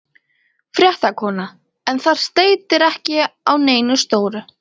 Fréttakona: En það steytir ekki á neinu stóru?